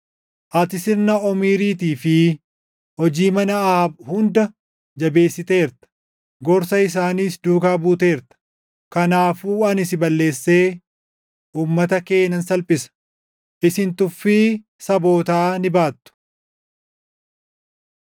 Ati sirna Omriitii fi hojii mana Ahaab hunda jabeessiteerta; gorsa isaaniis duukaa buuteerta. Kanaafuu ani si balleessee, uummata kee nan salphisa; isin tuffii sabootaa ni baattu.”